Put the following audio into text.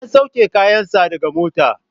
An sauke kayan sa daga mota